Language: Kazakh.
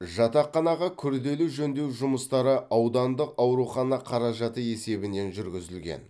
жатақханаға күрделі жөндеу жұмыстары аудандық аурухана қаражаты есебінен жүргізілген